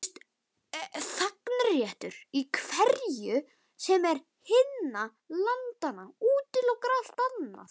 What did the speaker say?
Þegnréttur í hverju sem er hinna landanna útilokar allt annað.